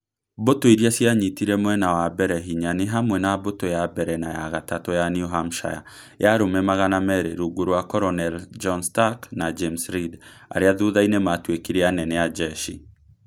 Mbũtũ iria cianyitire mwena wa mbere hinya nĩ hamwe na mbũtũ ya mbere na ya gatatũ ya New Hampshire ya Arũme magana meri [ 200], rungu rwa Colonel John Stark na James Reed (arĩa thutha-inĩ maatuĩkire anene a njeshi).